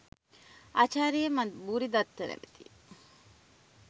ආචාර්ය මන් භූරිදත්ත නමැති